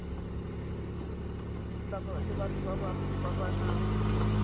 le batho ba ba nang